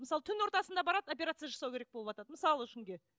мысалы түн ортасында барады операция жасау керек болыватады мысалы үшін